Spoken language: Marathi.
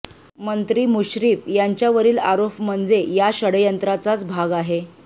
मंत्री मुश्रीफ यांच्यावरील आरोप म्हणजे या षड्यंत्राचाच भाग आहे